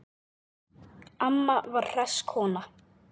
Amma var hress kona.